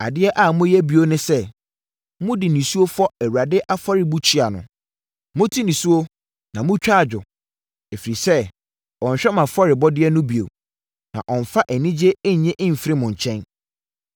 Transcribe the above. Adeɛ a moyɛ bio ne sɛ: mode nisuo fɔ Awurade afɔrebukyia no. Mote nisuo na motwa adwo ɛfiri sɛ ɔnhwɛ mo afɔrebɔdeɛ no bio, na ɔmmfa anigyeɛ nnye mfiri mo nkyɛn.